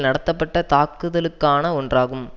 நடத்தப்பட்ட தாக்குதலுக்கான ஒன்றாகும்